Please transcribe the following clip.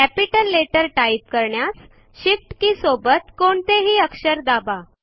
capital letter type करण्यास shift के सोबत कोणतेही अक्षर दाबा